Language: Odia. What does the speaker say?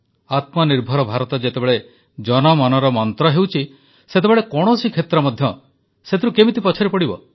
ଆତ୍ମନିର୍ଭର ଭାରତ ଯେତେବେଳେ ଜନମନର ମନ୍ତ୍ର ହେଉଛି ସେତେବେଳେ କୌଣସି କ୍ଷେତ୍ର ମଧ୍ୟ ସେଥିରୁ କିପରି ପଛରେ ପଡ଼ିବ